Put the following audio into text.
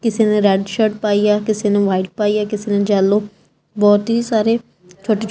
ਕਿਸੇ ਨੇਂ red shirt ਪਾਈ ਆ ਕਿਸੇ ਨੇਂ ਵਾਈਟ ਪਾਈ ਏ ਕਿਸੇ ਨੇਂ ਜੈੱਲੌ ਬਹੁਤ ਹੀ ਸਾਰੇ ਛੋਟੇ ਛੋਟੇ--